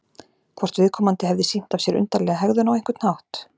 Hvort viðkomandi hefði sýnt af sér undarlega hegðun á einhvern hátt?